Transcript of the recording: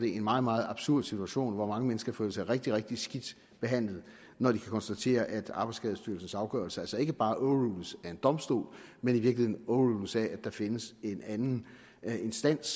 en meget meget absurd situation hvor mange mennesker føler sig rigtig rigtig skidt behandlet når de kan konstatere at arbejdsskadestyrelsens afgørelser altså ikke bare overrules af en domstol men i virkeligheden overrules af at der findes en anden instans